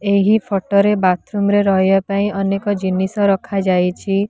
ଏହି ଫଟୋ ରେ ବାଥରୁମ୍ ରେ ରହିଆ ପାଇଁ ଅନେକ ଜିନିଷ ରଖା ଯାଇଛି।